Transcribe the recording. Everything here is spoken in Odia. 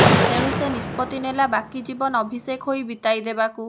ତେଣୁ ସେ ନିଷ୍ପତ୍ତି ନେଲା ବାକି ଜୀବନ ଅଭିଷେକ ହୋଇ ବିତେଇଦେବାକୁ